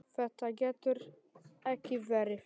Þetta getur ekki verið!